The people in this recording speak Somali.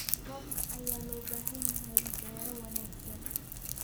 Roobka ayaa loo baahan yahay beero wanaagsan.